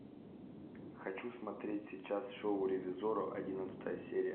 хочу смотреть сейчас шоу ревизорро одиннадцатая серия